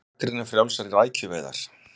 Gagnrýna frjálsar rækjuveiðar